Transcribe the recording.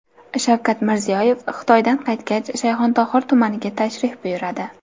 Shavkat Mirziyoyev Xitoydan qaytgach, Shayxontohur tumaniga tashrif buyuradi.